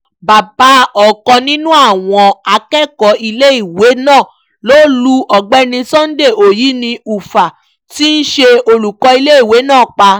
bàbá ọ̀kan nínú àwọn akẹ́kọ̀ọ́ iléèwé náà ló lu ọ̀gbẹ́ni sunday onyini ufah tí í ṣe olùkọ́ iléèwé náà pa